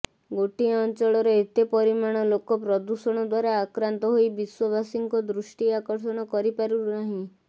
ଗୋଟିଏ ଅଞ୍ଚଳର ଏତେ ପରିମାଣ ଲୋକ ପ୍ରଦୂଷଣ ଦ୍ୱାରା ଆକ୍ରାନ୍ତ ହୋଇ ବିଶ୍ୱବାସୀଙ୍କ ଦୃଷ୍ଟି ଆକର୍ଷଣ କରି ପାରୁନାହିଁ